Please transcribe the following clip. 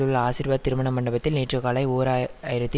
உள்ள ஆசீர்வாத் திருமண மண்டபத்தில் நேற்று காலை ஓர் ஆயிரத்தி